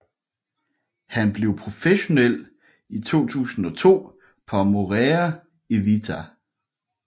Han blev professionel i 2002 på Amore e Vita